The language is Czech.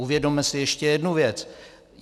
Uvědomme si ještě jednu věc.